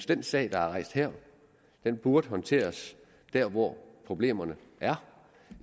den sag der er rejst her burde håndteres der hvor problemerne er